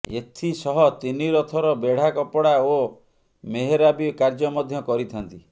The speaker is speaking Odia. ଏଥିସହ ତିନି ରଥର ବେଢା କପଡା ଓ ମେହେରାବି କାର୍ଯ୍ୟ ମଧ୍ୟ କରିଥାନ୍ତି